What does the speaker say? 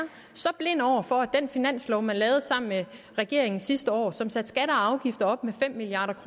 så blind over for at den finanslov man lavede sammen med regeringen sidste år og som satte skatter og afgifter op med fem milliard